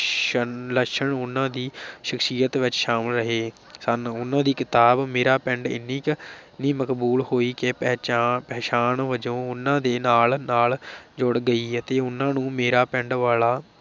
ਸਨ, ਲੱਛਣ ਉਹਨਾਂ ਦੀ ਸ਼ਖਸ਼ੀਅਤ ਵਿਚ ਸ਼ਾਮਲ ਰਹੇ ਸਨ, ਉਨ੍ਹਾਂ ਦੀ ਕਿਤਾਬ ਮੇਰਾ ਪਿੰਡ ਇੰਨੀ ਕੁ ਇੰਨੀ ਮਕਬੂਲ ਹੋਈ ਕਿ ਪਹਿਚਾ ਪਛਾਣ ਵਜੋਂ ਉਨ੍ਹਾਂ ਦੇ ਨਾਲ ਨਾਲ ਜੁੜ ਗਈ ਅਤੇ ਉਨ੍ਹਾਂ ਨੂੰ ਮੇਰਾ ਪਿੰਡ ਵਾਲਾ